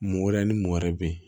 Mɔ wɛrɛ ni mɔgɔ wɛrɛ be yen